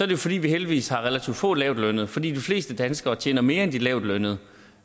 jo fordi vi heldigvis har relativt få lavtlønnede for de fleste danskere tjener mere end de lavtlønnede